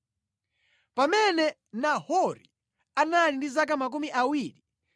Pamene Nahori anali ndi zaka 29, anabereka Tera.